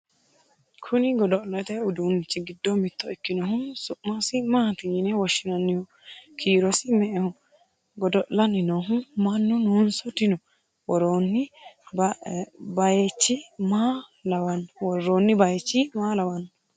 kuni godo'lete uduunichi giddo mitto ikkinohu su'masi maati yine woshshinanniho? kiirosi me"eho? godo'lanni noohu mannu noonso dino? worroonni bayeechi maa lawannohe?